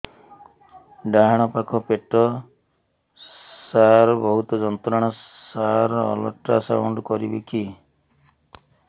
ଡାହାଣ ପାଖ ପେଟ ସାର ବହୁତ ଯନ୍ତ୍ରଣା ସାର ଅଲଟ୍ରାସାଉଣ୍ଡ କରିବି କି